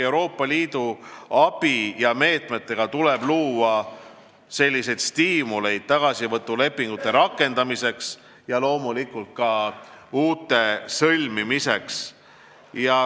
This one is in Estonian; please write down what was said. Euroopa Liidu abimeetmetega tuleb luua stiimuleid tagasivõtulepingute rakendamiseks ja loomulikult ka uute sõlmimiseks.